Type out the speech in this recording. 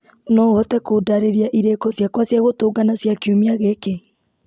no ũhote kũndarĩria irĩko ciakwa cia gũtũngana cia kiumia gĩkĩ